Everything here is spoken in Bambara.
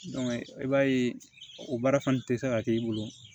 i b'a ye o baara fana tɛ se ka k'i bolo